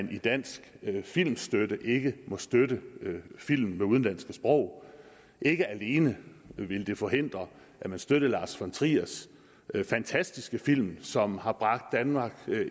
den danske filmstøtte ikke må støtte film med udenlandsk sprog ikke alene ville det forhindre at man støttede lars von triers fantastiske film som har bragt danmark